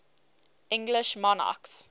english monarchs